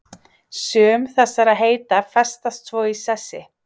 Sum þessara heita festast svo í sessi.